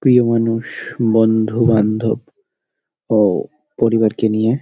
প্রিয় মানুষ বন্ধু বান্ধব ও পরিবারকে নিয়ে--